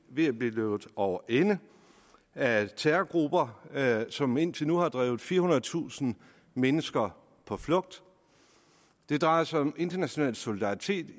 ved at blive løbet over ende af terrorgrupper som indtil nu har drevet firehundredetusind mennesker på flugt det drejer sig om international solidaritet